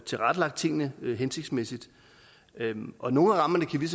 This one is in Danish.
tilrettelagt tingene hensigtsmæssigt og nogle af rammerne kan vi